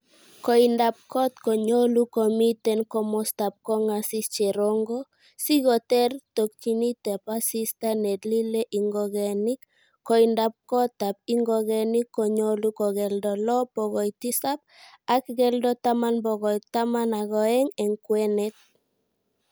Koindab got konyolu komiiten komoostab kongasis cherongo, sikoteer tokyinetab asista nelilee ingogenik, koindab gotab ingogenik konyolu kokeldo loo bokoi tisap, ak keldo taman bokoi taman ak o'eng en kwenet.